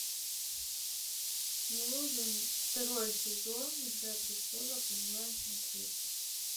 нужен второй сезон игра престолов онлайн смотреть